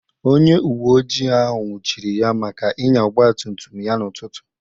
Onye uwe ojii ahụ nwụchiri ya maka ịnya ọgbatumtum ya n'ụtụtụ